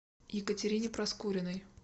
екатерине проскуриной